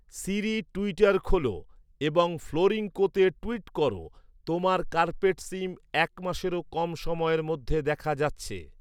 সিরি Twitter খোল এবং ফ্লোরিংকোতে টুইট কর তোমার কার্পেট সিম এক মাসেরও কম সময়ের মধ্যে দেখা যাচ্ছে